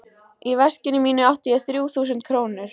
Í veskinu mínu átti ég þrjú þúsund krónur.